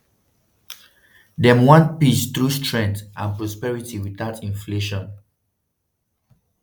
dem want peace through strength and prosperity without inflation.